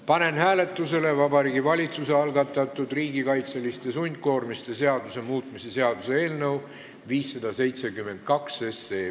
Panen hääletusele Vabariigi Valitsuse algatatud riigikaitseliste sundkoormiste seaduse muutmise seaduse eelnõu 572.